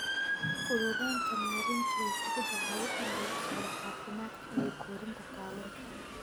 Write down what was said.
Fududeynta Maareynta Way fududahay in lala socdo caafimaadka iyo korriinka kalluunka.